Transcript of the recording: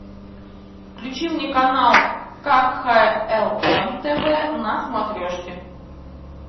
включи мне канал кхлм тв на смотрешке